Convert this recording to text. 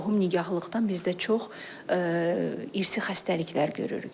Qohum nigahlıqda bizdə çox irsi xəstəliklər görürük.